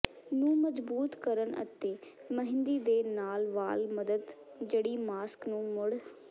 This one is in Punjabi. ਨੂੰ ਮਜ਼ਬੂਤ ਕਰਨ ਅਤੇ ਮਹਿੰਦੀ ਦੇ ਨਾਲ ਵਾਲ ਮਦਦ ਜੜੀ ਮਾਸਕ ਨੂੰ ਮੁੜ